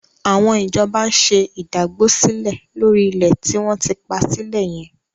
Àwọn ìjọba ń ṣe ìdágbósílẹ̀ lórí ilẹ̀ tí wọ́n ti pa sílẹ̀ yẹn.